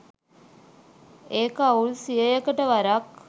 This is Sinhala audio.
ඒක අවුරුදු සීයකට වරක්